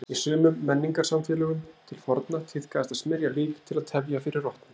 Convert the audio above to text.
Í sumum menningarsamfélögum til forna tíðkaðist að smyrja lík til að tefja fyrir rotnun.